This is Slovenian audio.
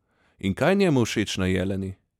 In kaj je njemu všeč na Jeleni?